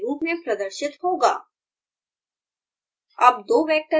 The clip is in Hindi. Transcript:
आउटपुट x =1 2 3 4 के रूप में प्रदर्शित होगा